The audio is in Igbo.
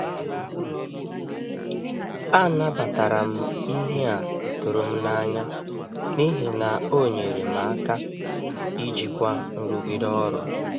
Anabatara m ihe a tụrụ m n’anya n’ihi na ọ nyere m aka ijikwa nrụgide ọrụ.